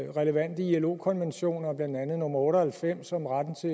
relevante ilo konventioner blandt andet nummer otte og halvfems om retten til